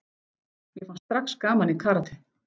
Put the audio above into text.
Mér fannst strax gaman í karate.